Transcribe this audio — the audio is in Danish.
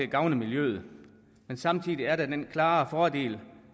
gavner miljøet men samtidig er der den klare fordel